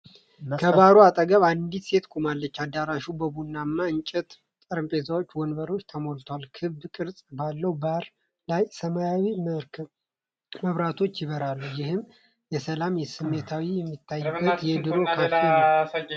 ከባሩ አጠገብ አንዲት ሴት ቆማለች፤ አዳራሹ በቡናማ የእንጨት ጠረጴዛና ወንበር ተሞልቷል። ክብ ቅርጽ ባለው ባር ላይ ሰማያዊ መብራቶች ያበራሉ። ይህ የሰላም ስሜት የሚታይበት የድሮ ካፌ ነው።